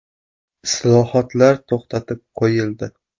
Islohotlar to‘xtatib qo‘yildi.